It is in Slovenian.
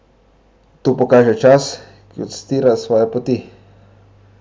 To pokaže čas, ki odstira svoje poti.